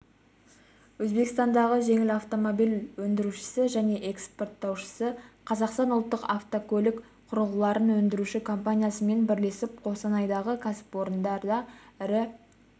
өзбекстандағы жеңіл автомобиль өндірушісі және экспорттаушысы қазақстандық ұлттық автокөлік құрылғыларын өндіруші компаниясымен бірлесіп қостанайдағы кәсіпорында ірі